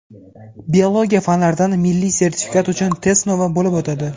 biologiya fanlaridan milliy sertifikat uchun test sinovi bo‘lib o‘tadi.